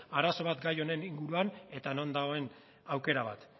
arazo bat gai honen inguruan eta non dagoen aukera bat